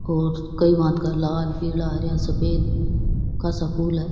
और कई भांत का लाल पीला हरा सफेद का सा फूल है।